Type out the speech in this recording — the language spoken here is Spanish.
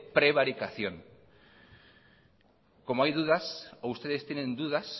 prevaricación como hay dudas o ustedes tienen dudas